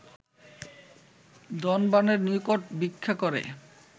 ধনবানের নিকট ভিক্ষা করে